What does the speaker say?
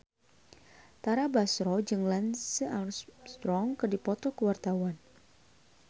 Tara Basro jeung Lance Armstrong keur dipoto ku wartawan